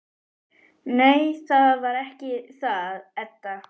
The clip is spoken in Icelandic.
Nei, það var ekki það, Edda.